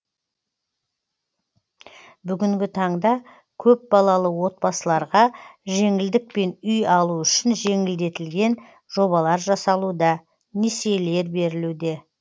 бүгінгі таңда көпбалалы отбасыларға жеңілдікпен үй алу үшін жеңілдетілген жобалар жасалуда несиелер берілуде